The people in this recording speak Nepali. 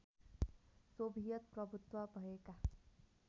सोभियत प्रभुत्व भएका